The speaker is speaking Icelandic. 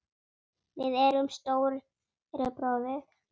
Við erum Stóri bróðir!